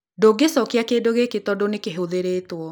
Ndũngĩcokia kĩndũ gĩkĩ tondũ nĩ kĩhũthĩrĩtwo